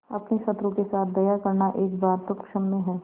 अपने शत्रु के साथ दया करना एक बार तो क्षम्य है